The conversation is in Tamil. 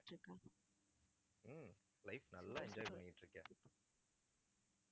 ஹம் life நல்லா enjoy பண்ணிட்டுருக்கேன்